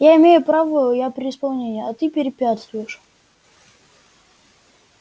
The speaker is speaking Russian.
я имею право я при исполнении а ты препятствуешь